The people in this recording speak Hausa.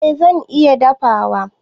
Eh zan iya dafawa.